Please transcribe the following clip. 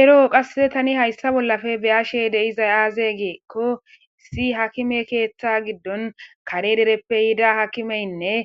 Ero qasseka tani hayssa bollappe be7ashe dizayssi aaze giikko issi aakime keetha giddon kare dereppe yida haakimeynne